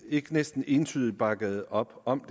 ikke næsten entydigt bakkede op om